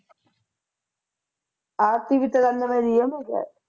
ਆਰਤੀ ਵੀ ਤਿਰਾਨਵੇ ਦੀ ਐ ਮੈਂ ਕਿਹਾ